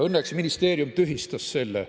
Õnneks ministeerium tühistas selle.